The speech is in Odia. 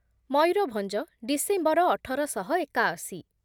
ମୟୂରଭଭଞ୍ଜ ଡିସେମ୍ବର ଅଠର ଶହ ଏକାଅଶି